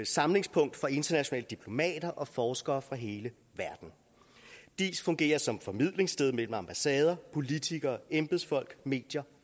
samlingspunkt for internationale diplomater og forskere fra hele verden diis fungerer som formidlingssted mellem ambassader politikere embedsfolk medier